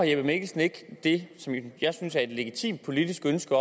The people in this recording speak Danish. jeppe mikkelsen ikke det som jeg synes er et legitimt politisk ønske